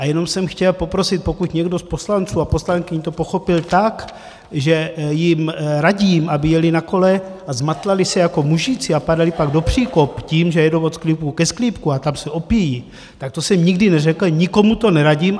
A jenom jsem chtěl poprosit: Pokud někdo z poslanců a poslankyň to pochopil tak, že jim radím, aby jeli na kole a zmatlali se jako mužici a padali pak do příkopů tím, že jedou od sklípku ke sklípku a tam se opijí, tak to jsem nikdy neřekl, nikomu to neradím.